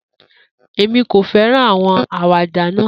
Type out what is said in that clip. Emi ko fẹran awọn awada naa.